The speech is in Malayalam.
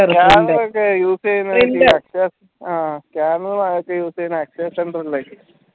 scanner use യുന്ന